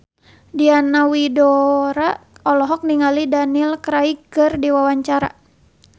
Diana Widoera olohok ningali Daniel Craig keur diwawancara